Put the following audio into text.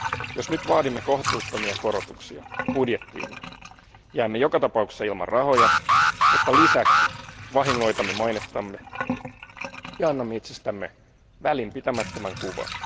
Jos nyt vaadimme kohtuuttomia korotuksia budjettiimme, jäämme joka tapauksessa ilman rahoja, mutta lisäksi vahingoitamme mainettamme ja annamme itsestämme välinpitämättömän kuvan.